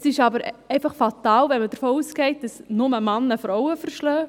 Es ist aber einfach fatal, wenn man davon ausgeht, dass nur Männer Frauen schlagen.